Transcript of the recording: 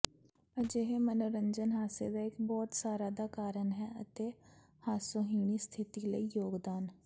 ਅਜਿਹੇ ਮਨੋਰੰਜਨ ਹਾਸੇ ਦਾ ਇੱਕ ਬਹੁਤ ਸਾਰਾ ਦਾ ਕਾਰਨ ਹੈ ਅਤੇ ਹਾਸੋਹੀਣੀ ਸਥਿਤੀ ਲਈ ਯੋਗਦਾਨ